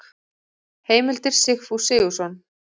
Heimildir Sigfús Sigfússon.